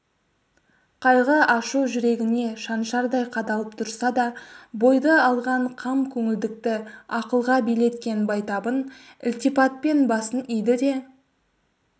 қайғы ашу жүрегіне шаншардай қадалып тұрса да бойды алған қам көңілдікті ақылға билеткен байтабын ілтипатпен басын иді де